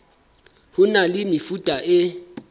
ho na le mefuta e